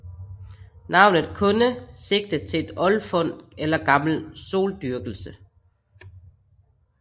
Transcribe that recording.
Navnet kunde sigte til et oldfund eller gammel soldyrkelse